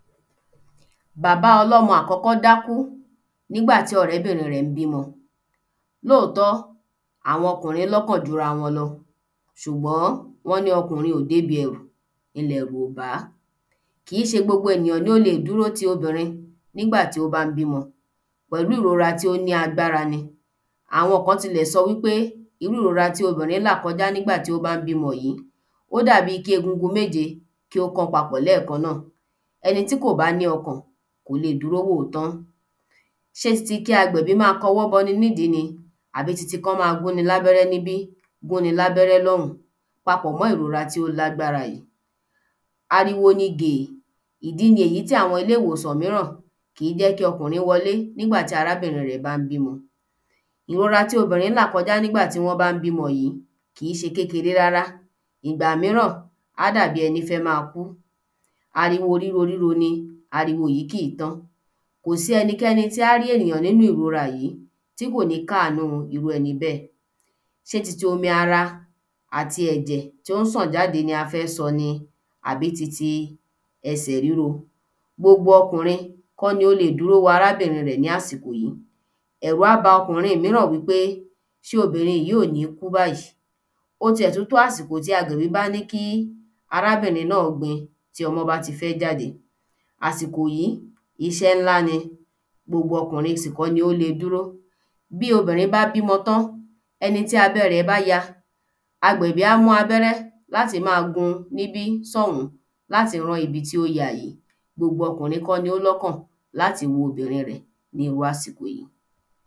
Bàbá ọlọ́mọ àkọ́kọ́ dákú nígbà tí ọ̀rẹ́bìnrin rẹ̀ n bímọ. lóòtọ́ àwọn ọkùnrin lọ́kàn ju ra wọn lọ, ṣùgbọ́n wọn ní ọkùnrin kò dẹ́ ibi ẹrù nílẹ̀ yorùbá. Kíì ṣe gbogbo enìyàn lo lè dúró ti obìnrin nígbà tí o bá n bímọ pẹ̀lú ìrora tí o ní agbárá ni Àwọn kan tìlẹ̀ sọ wi pe irú ìrora tí obìnrin n là kọ́ja nígbà tí o bá n b ímọ yìí, ó dàbí kí egungun méje kí ó kọ pápọ̀ lẹ́ẹ̀kan náa ẹni tí kò bá ní ọkàn kò lè dúró wòó tán. ṣé tí kí agbẹ̀bí má kọwọ́ bọ ni ní ìdí ni, àbí ti ti kí wọn ma gún ń labẹrẹ níbí, gún í labẹrẹ lọ́ùn pápọ̀ mọ ìrora tí o lágbara yìí, ariwo ní géé, ìdí ni èyí tí àwọn ilè ìwòsàn mìíran kìí jẹ́ kí ọkùnrin wọlé nígbà ti arábìnrin rẹ̀ bá n bímọ ìrora tí obìnrin la kọ́ja nígbà ti wọn bá n bímọ yìí kìí ṣe kekeré rárá, ìgbà míràn a dà bí ẹni fẹ́ ma kú, ariwo ríroríro ní ariwo yìí kìi tán kò si ẹnikẹ́ni tí a ri èyàn nínu ìrora yìí tí kò ní káánu irú ẹni bẹ́. ṣé ti ti omi ara ati ẹ̀jẹ̀ tó n ṣàn jáde ni a fẹ́ sọ ní àbí ti ti ẹsẹ̀ ríro, gbogbo ọkùnrín kọ́ lo lè dúró wo arábìnrin rẹ̀ lásikò yìí. ẹ̀rù a bá ọkùnrin mìíràn wi pe ṣé obìnrin yí kò ní kú báyì. Ó tíè tún tó àsìkò tí agbẹ̀bi bá ní kí arábìnrin náa gbin tí ọmọ bá ti fẹ jáde, àsìkò yí iṣẹ́ ńlá ni gbogbo ọkùnrin sì kọ lo le dúró. Bí obìnrin bá bímọ tán, ẹni tí abẹ́ rẹ̀ ba yá, agbẹ̀bi á mú abẹ́rẹ́ láti ma gun níbí sọ́ùn láti rán ibi tí o ́ ya yìí. Gbogbo ọkùnrin kọ́ ni ó lọ́kàn láti wo obìnrin rẹ̀ nírú àsìkò yìí